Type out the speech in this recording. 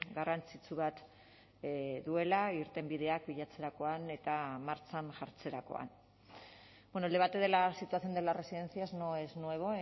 garrantzitsu bat duela irtenbideak bilatzerakoan eta martxan jartzerakoan bueno el debate de la situación de las residencias no es nuevo